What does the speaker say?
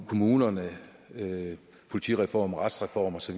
kommunerne politireform retsreform osv